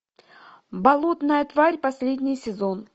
болотная тварь последний сезон